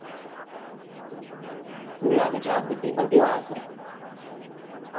કેવું લાગે છે આ વખતે પેપર કેવા હશે